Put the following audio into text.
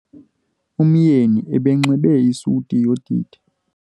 Umyeni ebenxibe isuti yodidi.